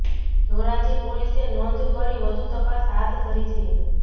ધોરાજી પોલીસે નોંધ કરી વધુ તપાસ હાથ ધરી છે